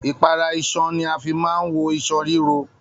Ipara iṣan ní a fí máa n wọ iṣan riro.